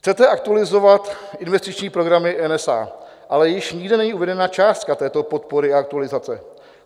Chcete aktualizovat investiční programy NSA, ale již nikde není uvedena částka této podpory a aktualizace.